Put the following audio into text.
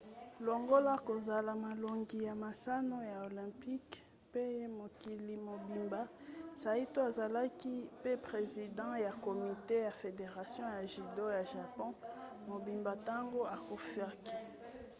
longola kozola molongi ya masano ya olympic pe ya mokili mobimba saito azalaki pe president ya komite ya federation ya judo ya japon mobimba ntango akufaki